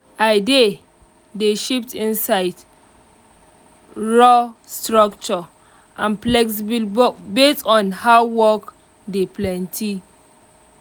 i dey dey shift inside rough structure and flexible based on how my work tey plenty.